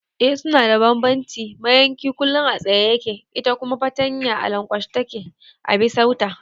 Eh suna da bambanci, mayanki kullum a tsaye yake ita kuma fartanya a lankwashe take a bisar ta